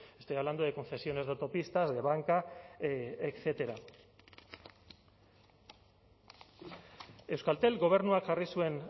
estoy hablando de concesiones de autopistas de banca etcétera euskaltel gobernuak jarri zuen